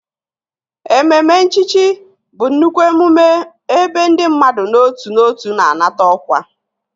Ememe nchichi bụ nnukwu emume ebe ndị mmadụ n'otu n'otu na-anata ọkwa